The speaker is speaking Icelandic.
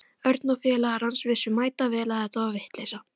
Örn og félagar hans vissu mætavel að þetta var vitleysa.